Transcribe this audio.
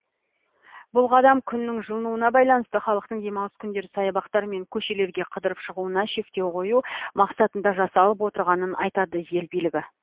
бұл қадам күннің жылынуына байланысты халықтың демалыс күндері саябақтар мен көшелерге қыдырып шығуына шектеу қою мақсатында жасалып отырғанын айтады ел билігі